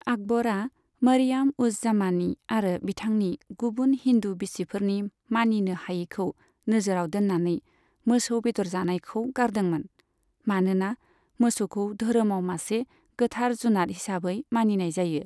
आकबरआ मारियाम उज जामानी आरो बिथांनि गुबुन हिन्दु बिसिफोरनि मानिनो हायैखौ नोजोराव दोन्नानै मोसौ बेदर जानायखौ गारदोंमोन, मानोना मोसौखौ धोरोमाव मासे गोथार जुनाद हिसाबै मानिनाय जायो।